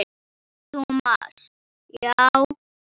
Thomas, já.